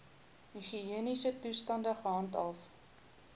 higiëniese toestande gehandhaaf